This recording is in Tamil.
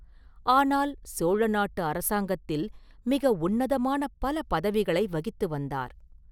ஆனால் சோழ நாட்டு அரசாங்கத்தில் மிக உன்னதமான பல பதவிகளை வகித்து வந்தார்.